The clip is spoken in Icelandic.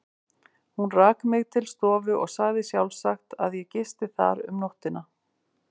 Hún rak mig til stofu og sagði sjálfsagt, að ég gisti þar um nóttina.